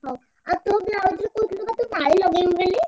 ହଉ ଆଉ ତୋ blouse ର କହୁଥିଲୁ ବା ତୁ ମାଳି ଲଗେଇବି ବୋଲି?